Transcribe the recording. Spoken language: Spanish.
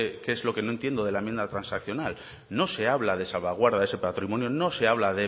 que es lo que no entiendo de la enmienda transicional no se habla de salvaguarda de ese patrimonio no se habla